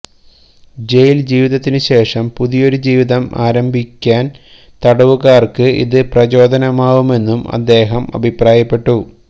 ജയില് ജീവിതത്തിനു ശേഷം പുതിയൊരു ജീവിതം ആരംഭിക്കാന് തടവുകാര്ക്ക് ഇത് പ്രചോദനമാവുമെന്നും അദ്ദേഹം അഭിപ്രായപ്പെട്ടു